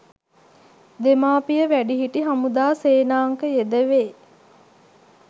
දෙමාපිය වැඩිහිටි හමුදා සේනාංක යෙදවේ